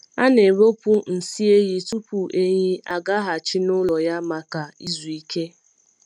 A na-ewepụ nsị ehi tupu ehi agaghachi n’ụlọ ya maka izu ike.